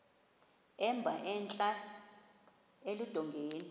emba entla eludongeni